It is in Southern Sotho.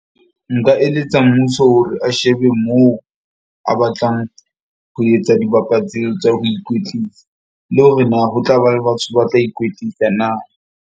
Nka eletsa mmuso hore a shebe moo a batlang ho etsa tseo tsa ho ikwetlisa le hore na ho tla ba le batho ba tla ikwetlisa na.